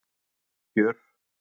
Hörð kjör